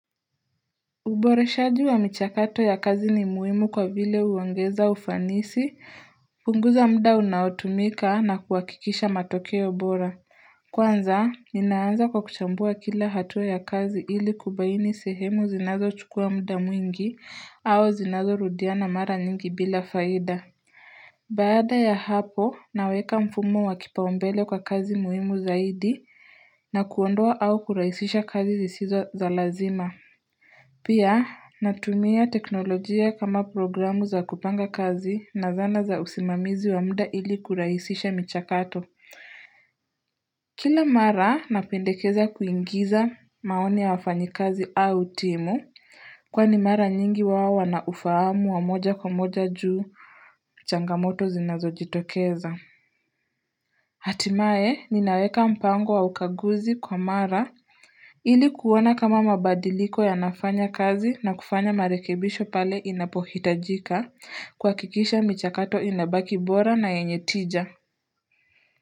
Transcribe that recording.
Uboreshaji wa michakato ya kazi ni muhimu kwa vile huongeza ufanisi, punguza mda unaotumika na kuhakikisha matokeo bora. Kwanza, ninaanza kwa kuchambua kila hatua ya kazi ili kubaini sehemu zinazo chukua mda mwingi au zinazo rudiana mara nyingi bila faida. Baada ya hapo, naweka mfumo wa kipaombele kwa kazi muhimu zaidi na kuondoa au kurahisisha kazi zisizo za lazima. Pia natumia teknolojia kama programu za kupanga kazi na zana za usimamizi wa mda ili kuraisisha michakato. Kila mara napendekeza kuingiza maoni ya wafanyi kazi au timu kwani mara nyingi wao wanaufahamu wa moja kwa moja juu changamoto zinazo jitokeza. Hatimaye ninaweka mpango wa ukaguzi kwa mara ili kuona kama mabadiliko yanafanya kazi na kufanya marekebisho pale inapohitajika kuhakikisha michakato inabaki bora na yenye tija.